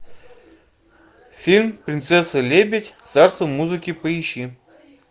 фильм принцесса лебедь царство музыки поищи